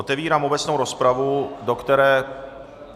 Otevírám obecnou rozpravu, do které...